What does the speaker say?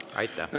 Aitäh!